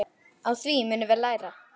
Á því munum við læra.